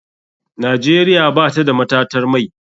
Nigeria batada matatar mai.